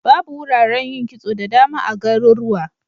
Babu wuraren yin kitso da dama a garurwa.